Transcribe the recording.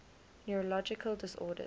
neurological disorders